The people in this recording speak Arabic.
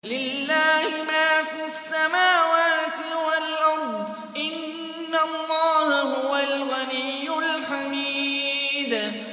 لِلَّهِ مَا فِي السَّمَاوَاتِ وَالْأَرْضِ ۚ إِنَّ اللَّهَ هُوَ الْغَنِيُّ الْحَمِيدُ